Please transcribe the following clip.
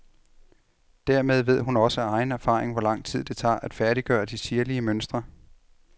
Dermed ved hun også af egen erfaring, hvor lang tid det tager at færdiggøre de sirlige mønstre.